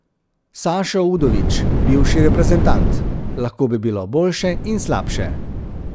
Sašo Udovič, bivši reprezentant: 'Lahko bi bilo boljše in slabše.